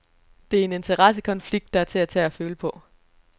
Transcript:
Det er en interessekonflikt, der er til at tage og føle på.